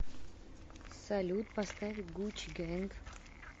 салют поставь гучи гэнг